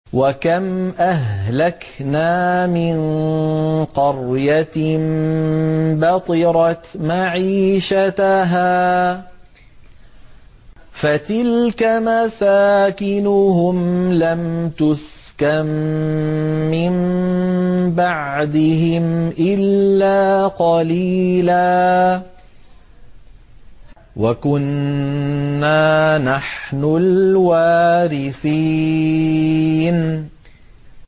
وَكَمْ أَهْلَكْنَا مِن قَرْيَةٍ بَطِرَتْ مَعِيشَتَهَا ۖ فَتِلْكَ مَسَاكِنُهُمْ لَمْ تُسْكَن مِّن بَعْدِهِمْ إِلَّا قَلِيلًا ۖ وَكُنَّا نَحْنُ الْوَارِثِينَ